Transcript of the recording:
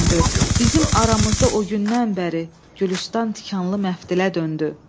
Bizim aramızda o gündən bəri Gülüstan tikanlı məftilə döndü.